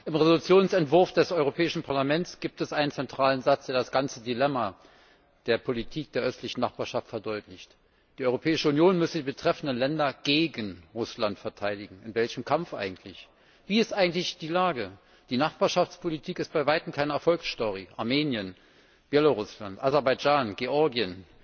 Im Entschließungsentwurf des Europäischen Parlaments gibt es einen zentralen Satz, der das ganze Dilemma der Politik der östlichen Nachbarschaft verdeutlicht Die Europäische Union müsse die betreffenden Länder gegen Russland verteidigen. In welchem Kampf eigentlich? Wie ist eigentlich die Lage? Die Nachbarschaftspolitik ist bei weitem keine Erfolgsstory Armenien, Belarus, Aserbaidschan, Georgien,